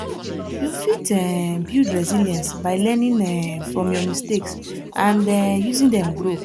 you fit um build resilience by learning um from your mistakes and um using dem grow